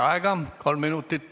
Lisaaeg, kolm minutit.